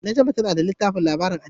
Najma tana da littafin labarin addini.